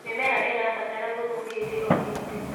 mĩmera irabatara thumu hĩndĩ o hĩndĩ